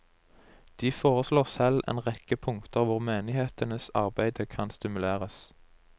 De foreslår selv en rekke punkter hvor menighetenes arbeide kan stimuleres.